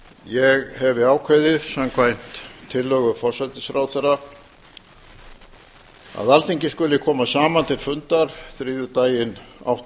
ég hefi ákveðið samkvæmt tillögu forsætisráðherra að alþingi skuli koma saman til fundar þriðjudaginn